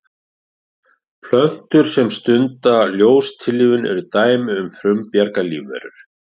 Plöntur sem stunda ljóstillífun eru dæmi um frumbjarga lífverur.